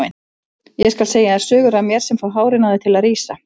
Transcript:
Ég skal segja þér sögur af mér sem fá hárin á þér til að rísa.